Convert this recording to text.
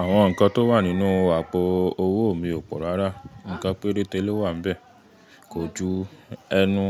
Àwọn nǹkan tó wà nínú àpò owó mi ò pọ̀ rárá, ǹkan péréte ló wà bẹ́ẹ̀, kò ju ẹnu